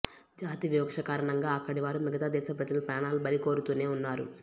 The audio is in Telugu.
జాతి వివక్ష కారణంగా అక్కడి వారు మిగతా దేశ ప్రజల ప్రాణాలు బలికోరుతూనే ఉన్నారు